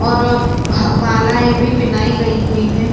और ह बालाये भी पहनाई गयी हुई है।